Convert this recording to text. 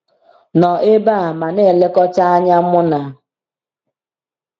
Nọ ebe a ma na-elekọta anya mụna.